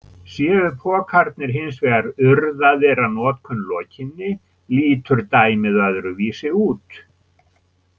Séu pokarnir hins vegar urðaðir að notkun lokinni lítur dæmið öðruvísi út.